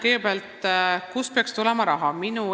Kõigepealt, kust peaks tulema raha?